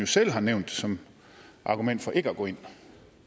selv har nævnt det som et argument for ikke at gå ind